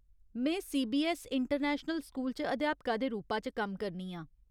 में CBSE international school च अध्यापका दे रूपा च कम्म करनी आं।